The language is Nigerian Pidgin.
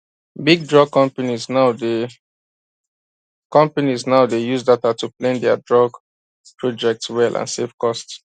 big drug companies now dey companies now dey use data to plan dia drug project well and save cost